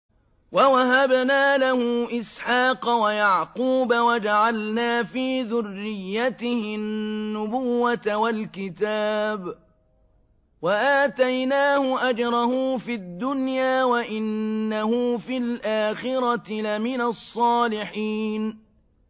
وَوَهَبْنَا لَهُ إِسْحَاقَ وَيَعْقُوبَ وَجَعَلْنَا فِي ذُرِّيَّتِهِ النُّبُوَّةَ وَالْكِتَابَ وَآتَيْنَاهُ أَجْرَهُ فِي الدُّنْيَا ۖ وَإِنَّهُ فِي الْآخِرَةِ لَمِنَ الصَّالِحِينَ